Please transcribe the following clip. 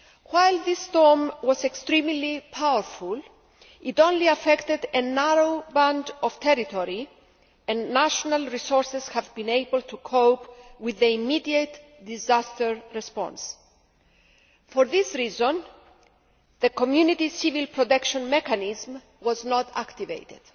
While this storm was extremely powerful, it only affected a narrow band of territory, and national resources have been able to cope with the immediate disaster response. For this reason, the Community Civil Protect Mechanism was not activated.